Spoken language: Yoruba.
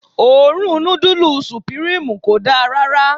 Òórùn nudulu supirimu kò dá rárá.